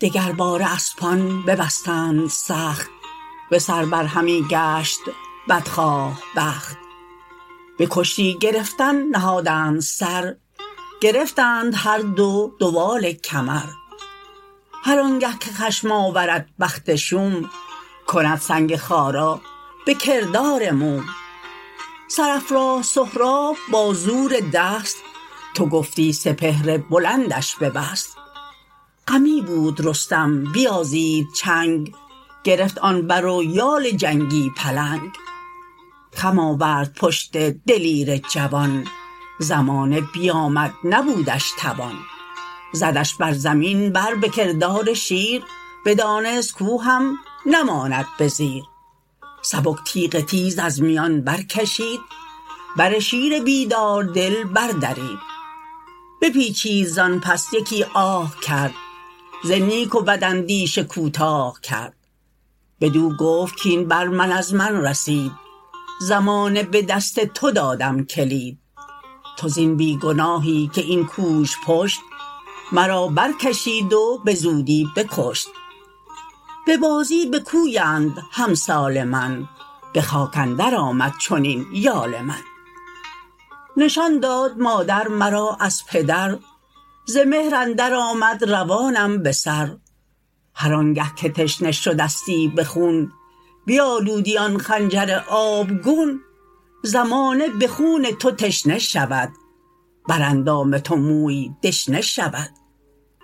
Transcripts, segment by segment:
دگر باره اسپان ببستند سخت به سر بر همی گشت بدخواه بخت به کشتی گرفتن نهادند سر گرفتند هر دو دوال کمر هرآنگه که خشم آورد بخت شوم کند سنگ خارا به کردار موم سرافراز سهراب با زور دست تو گفتی سپهر بلندش ببست غمی بود رستم بیازید چنگ گرفت آن بر و یال جنگی پلنگ خم آورد پشت دلیر جوان زمانه بیامد نبودش توان زدش بر زمین بر به کردار شیر بدانست کاو هم نماند به زیر سبک تیغ تیز از میان برکشید بر شیر بیدار دل بردرید بپیچید زانپس یکی آه کرد ز نیک و بد اندیشه کوتاه کرد بدو گفت کاین بر من از من رسید زمانه به دست تو دادم کلید تو زین بیگناهی که این کوژپشت مرابرکشید و به زودی بکشت به بازی بکویند همسال من به خاک اندر آمد چنین یال من نشان داد مادر مرا از پدر ز مهر اندر آمد روانم بسر هرآنگه که تشنه شدستی به خون بیالودی آن خنجر آبگون زمانه به خون تو تشنه شود براندام تو موی دشنه شود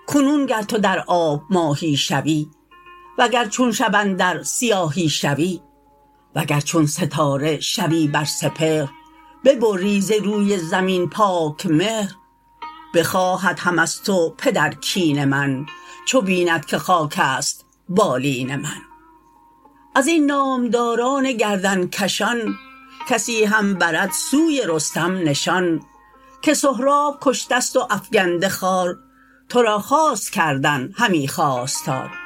کنون گر تو در آب ماهی شوی و گر چون شب اندر سیاهی شوی وگر چون ستاره شوی بر سپهر ببری ز روی زمین پاک مهر بخواهد هم از تو پدر کین من چو بیند که خاکست بالین من ازین نامداران گردنکشان کسی هم برد سوی رستم نشان که سهراب کشتست و افگنده خوار ترا خواست کردن همی خواستار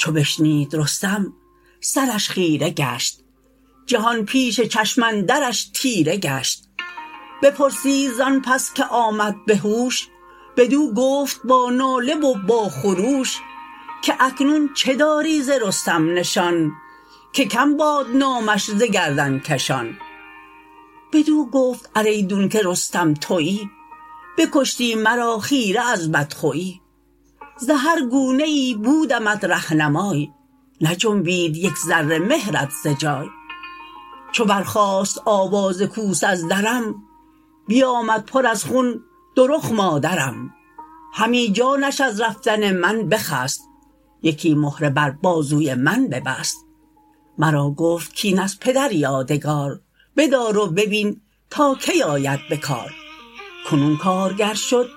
چو بشنید رستم سرش خیره گشت جهان پیش چشم اندرش تیره گشت بپرسید زان پس که آمد به هوش بدو گفت با ناله و با خروش که اکنون چه داری ز رستم نشان که کم باد نامش ز گردنکشان بدو گفت ار ایدونکه رستم تویی بکشتی مرا خیره از بدخویی ز هر گونه ای بودمت رهنمای نجنبید یک ذره مهرت ز جای چو برخاست آواز کوس از درم بیامد پر از خون دو رخ مادرم همی جانش از رفتن من بخست یکی مهره بر بازوی من ببست مرا گفت کاین از پدر یادگار بدار و ببین تا کی آید به کار کنون کارگر شد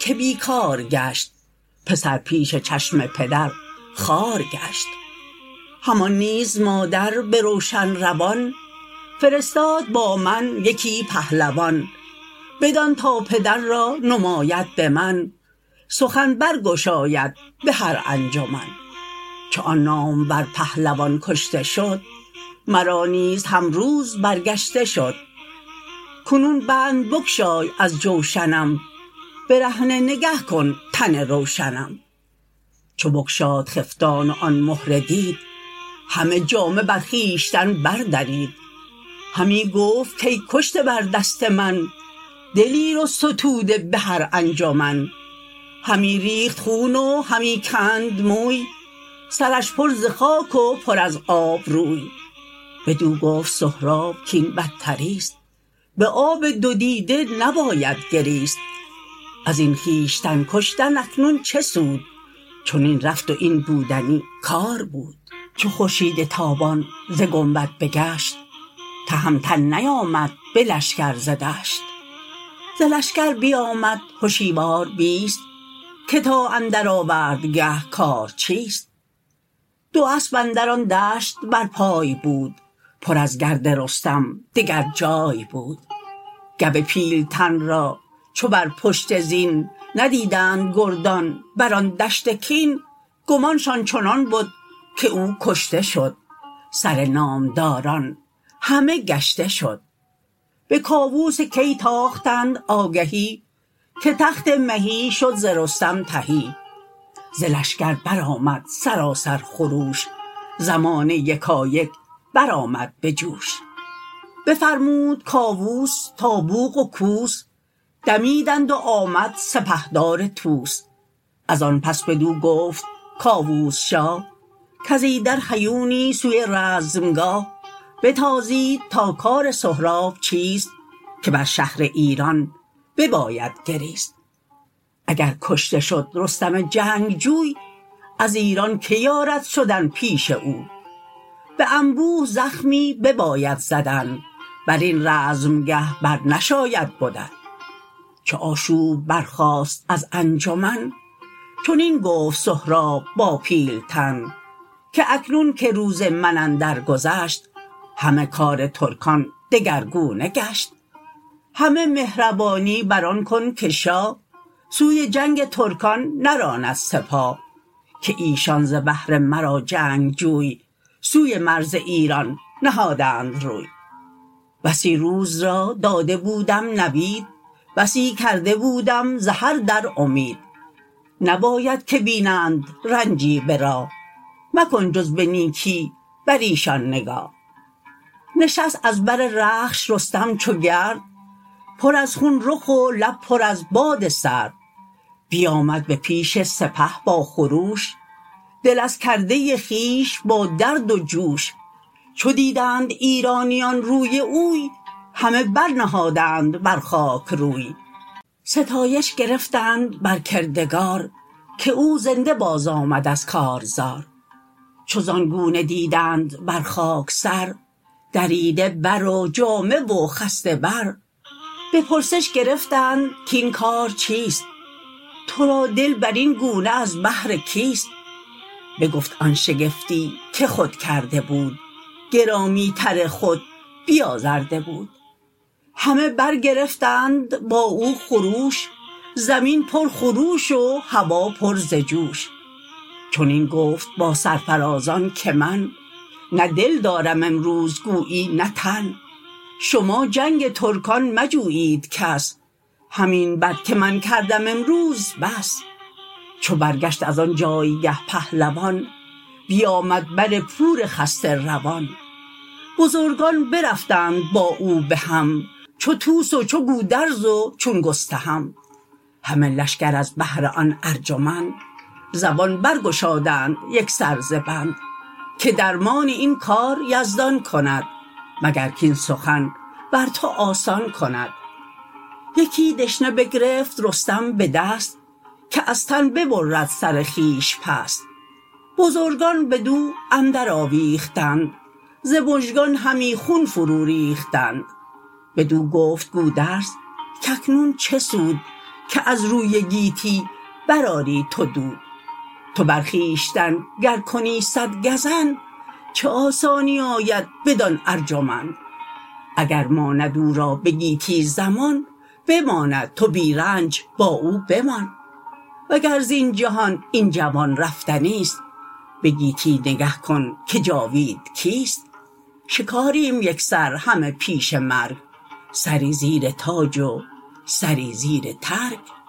که بیکار گشت پسر پیش چشم پدر خوار گشت همان نیز مادر به روشن روان فرستاد با من یکی پهلوان بدان تا پدر را نماید به من سخن برگشاید به هر انجمن چو آن نامور پهلوان کشته شد مرا نیز هم روز برگشته شد کنون بند بگشای از جوشنم برهنه نگه کن تن روشنم چو بگشاد خفتان و آن مهره دید همه جامه بر خویشتن بردرید همی گفت کای کشته بر دست من دلیر و ستوده به هر انجمن همی ریخت خون و همی کند موی سرش پر ز خاک و پر از آب روی بدو گفت سهراب کین بدتریست به آب دو دیده نباید گریست ازین خویشتن کشتن اکنون چه سود چنین رفت و این بودنی کار بود چو خورشید تابان ز گنبد بگشت تهمتن نیامد به لشکر ز دشت ز لشکر بیامد هشیوار بیست که تا اندر آوردگه کار چیست دو اسپ اندر آن دشت برپای بود پر از گرد رستم دگر جای بود گو پیلتن را چو بر پشت زین ندیدند گردان بران دشت کین گمانشان چنان بد که او کشته شد سرنامداران همه گشته شد به کاووس کی تاختند آگهی که تخت مهی شد ز رستم تهی ز لشکر برآمد سراسر خروش زمانه یکایک برآمد به جوش بفرمود کاووس تا بوق و کوس دمیدند و آمد سپهدار طوس ازان پس بدو گفت کاووس شاه کز ایدر هیونی سوی رزمگاه بتازید تا کار سهراب چیست که بر شهر ایران بباید گریست اگر کشته شد رستم جنگجوی از ایران که یارد شدن پیش اوی به انبوه زخمی بباید زدن برین رزمگه بر نشاید بدن چو آشوب برخاست از انجمن چنین گفت سهراب با پیلتن که اکنون که روز من اندر گذشت همه کار ترکان دگرگونه گشت همه مهربانی بران کن که شاه سوی جنگ ترکان نراند سپاه که ایشان ز بهر مرا جنگجوی سوی مرز ایران نهادند روی بسی روز را داده بودم نوید بسی کرده بودم ز هر در امید نباید که بینند رنجی به راه مکن جز به نیکی بر ایشان نگاه نشست از بر رخش رستم چو گرد پر از خون رخ و لب پر از باد سرد بیامد به پیش سپه با خروش دل از کرده خویش با درد و جوش چو دیدند ایرانیان روی اوی همه برنهادند بر خاک روی ستایش گرفتند بر کردگار که او زنده باز آمد از کارزار چو زان گونه دیدند بر خاک سر دریده برو جامه و خسته بر به پرسش گرفتند کاین کار چیست ترادل برین گونه از بهر کیست بگفت آن شگفتی که خود کرده بود گرامی تر خود بیازرده بود همه برگرفتند با او خروش زمین پر خروش و هوا پر ز جوش چنین گفت با سرفرازان که من نه دل دارم امروز گویی نه تن شما جنگ ترکان مجویید کس همین بد که من کردم امروز بس چو برگشت ازان جایگه پهلوان بیامد بر پور خسته روان بزرگان برفتند با او بهم چو طوس و چو گودرز و چون گستهم همه لشکر از بهر آن ارجمند زبان برگشادند یکسر ز بند که درمان این کار یزدان کند مگر کاین سخن بر تو آسان کند یکی دشنه بگرفت رستم به دست که از تن ببرد سر خویش پست بزرگان بدو اندر آویختند ز مژگان همی خون فرو ریختند بدو گفت گودرز کاکنون چه سود که از روی گیتی برآری تو دود تو بر خویشتن گر کنی صدگزند چه آسانی آید بدان ارجمند اگر ماند او را به گیتی زمان بماند تو بی رنج با او بمان وگر زین جهان این جوان رفتنیست به گیتی نگه کن که جاوید کیست شکاریم یکسر همه پیش مرگ سری زیر تاج و سری زیر ترگ